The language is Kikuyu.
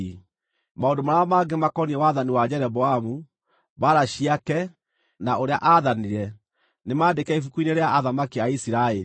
Maũndũ marĩa mangĩ makoniĩ wathani wa Jeroboamu, mbaara ciake, na ũrĩa aathanire, nĩmandĩke ibuku-inĩ rĩa athamaki a Isiraeli.